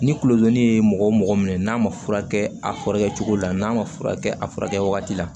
Ni kulodimi ye mɔgɔ mɔgɔ minɛ n'a ma furakɛ a furakɛ cogo la n'a ma furakɛ a furakɛ wagati la